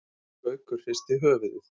Gaukur hristi höfuðið.